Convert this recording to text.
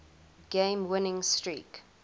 game winning streak